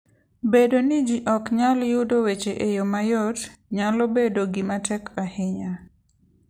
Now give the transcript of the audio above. Bedo ni ji ok nyal yudo weche e yo mayot, nyalo bedo gima tek ahinya.